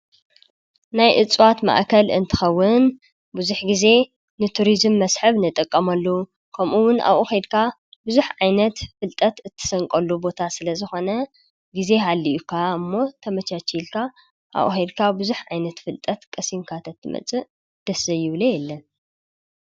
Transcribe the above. ናይ እፅዋት ማእከል እንተከዉን ብዙሕ ግዘ ንቱሪዝም መስሕብ ንጥቀመሉ ከምኡ እዉን ኣብኡ ኬድካ ብዙሕ ዓይነት ፍልጠት እትሰንቀሉ ቦታ ስለ ዝኮነ ግዘ ሃሊካ እሞ ተመቻቺልካ ኣብኡ ኬድካ ብዙሕ ዓይነት ፍልጠት ቀሲምካ ተትመፅእ ደስ ዘይብሎ የለን።